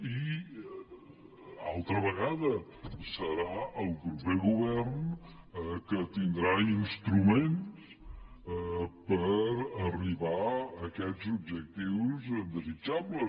i altra vegada serà el proper govern el que tindrà instruments per arribar a aquests objectius desitjables